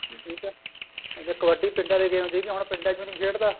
ਠੀਕ ਏ ਅੱਗੇ ਕਬੱਡੀ ਪਿੰਡਾ ਦੀ game ਸੀਗੀ ਹਨ ਪਿੰਡਾ ਚ ਵੀ ਨੀ ਖੇਡਦਾ